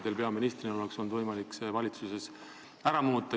Teil peaministrina oleks olnud võimalik seda valitsuses muuta.